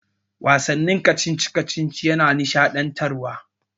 Wasannin kacici-kacici yana nishaɗantarwa.